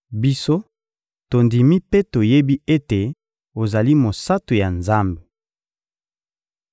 Biso, tondimi mpe toyebi ete ozali Mosantu ya Nzambe.